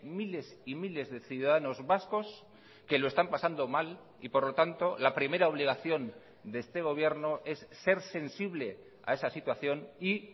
miles y miles de ciudadanos vascos que lo están pasando mal y por lo tanto la primera obligación de este gobierno es ser sensible a esa situación y